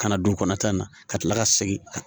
Ka na don kɔnɔta in na ka kila ka segin